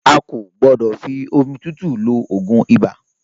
A kò gbọ́dọ̀ fi omi tútù lo ogún ibà